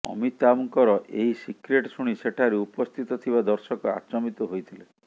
ଅମିତାଭଙ୍କର ଏହି ସିକ୍ରେଟ ଶୁଣି ସେଠାରେ ଉପସ୍ଥିତ ଥିବା ଦର୍ଶକ ଆଚମ୍ୱିତ ହୋଇଥିଲେ